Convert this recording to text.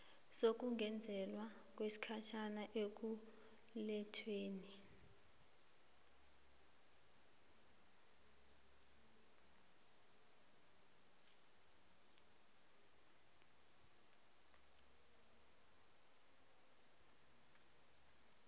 sokungezelelwa kwesikhathi ekulethweni